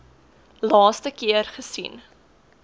laaste keer gesien